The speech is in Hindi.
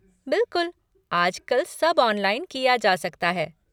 बिलकुल, आजकल सब ऑनलाइन किया जा सकता है।